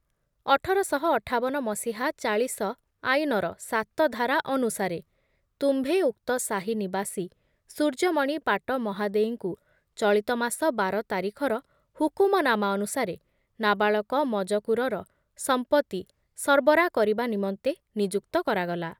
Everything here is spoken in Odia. ଅଠରଶହ ଅଠାବନ ମସିହା ଚାଳିଶ ଆଇନର ସାତ ଧାରା ଅନୁସାରେ ତୁମ୍ଭେ ଉକ୍ତ ସାହି ନିବାସୀ ସୂର୍ଯ୍ୟମଣି ପାଟ ମହାଦେଇଙ୍କୁ ଚଳିତ ମାସ ବାର ତାରିଖର ହୁକୁମନାମା ଅନୁସାରେ ନାବାଳକ ମଜକୁରର ସଂପତ୍ତି ସର୍ବରା କରିବା ନିମନ୍ତେ ନିଯୁକ୍ତ କରାଗଲା ।